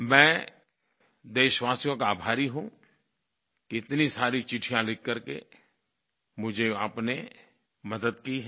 मैं देशवासियों का आभारी हूँ कि इतनी सारी चिट्ठियाँ लिख करके मुझे आपने मदद की है